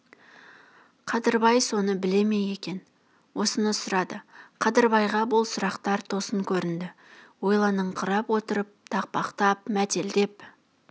қадырбай соны біле ме екен осыны сұрады қадырбайға бұл сұрақтар тосын көрінді ойланыңқырап отырып тақпақтап мәтелдеп